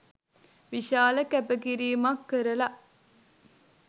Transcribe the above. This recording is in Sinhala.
විශාල කැපකිරීමක් කරල